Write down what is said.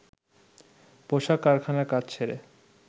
পোশাক কারখানার কাজ ছেড়ে